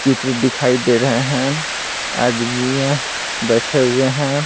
चित्र दिखाई दे रहे हैं आदमी है बैठे हुए हैं।